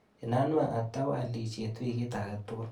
Inanwa atau alishet wikit akatukul.